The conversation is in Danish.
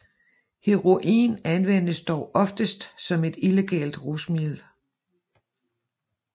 Heroin anvendes dog oftest som et illegalt rusmiddel